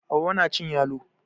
Hauwa na cin yalo